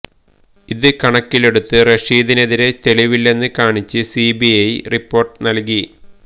ഇത് കണക്കിലെടുത്ത് റഷീദിനെതിരെ തെളിവില്ലെന്ന് കാണിച്ച് സി ബി ഐ റിപ്പോർട്ട് നൽകി